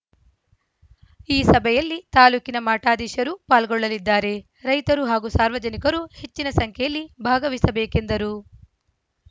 ಈ ಸಭೆಯಲ್ಲಿ ತಾಲೂಕಿನ ಮಠಾಧೀಶರು ಪಾಲ್ಗೊಳ್ಳಲಿದ್ದಾರೆ ರೈತರು ಹಾಗೂ ಸಾರ್ವಜನಿಕರು ಹೆಚ್ಚಿನ ಸಂಖ್ಯೆಯಲ್ಲಿ ಭಾಗವಹಿಸಬೇಕೆಂದರು